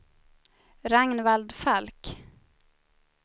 Ragnvald Falk